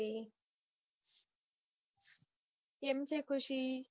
કેમ છે ખુશી?